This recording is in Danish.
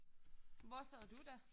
Hvor sad du da?